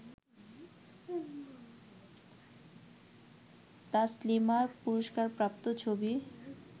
তাসলিমার পুরস্কারপ্রাপ্ত ছবি